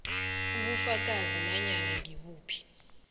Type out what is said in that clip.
ubufakazi nanyana ngibuphi